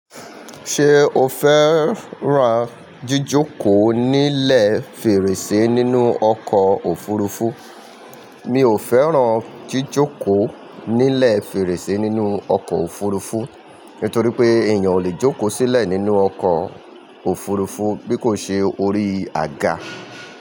Ṣé o fẹ́ran jíjókòó nílẹ̀ fèrèsé nínú ọkọ̀ òfurufú? Mi ò fẹ́ran jíjókòó nílẹ̀ fèrèsé nínú ọkọ̀ òfurufú, nítorí pé èèyàn ò lè jókòó sílẹ̀ nínú ọkọ̀ òfurufú bí kò ṣe orí àga.